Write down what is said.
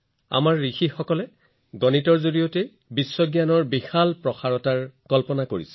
আমাৰ ঋষিসকলে সদায় গণিতৰ জৰিয়তে বৈজ্ঞানিক বুজাবুজিৰ এনে সম্প্ৰসাৰণৰ কল্পনা কৰি আহিছে